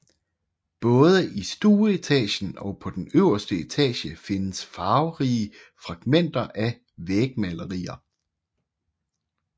Både i stueetagen og på den øverste etage findes farverige fragmenter af vægmalerier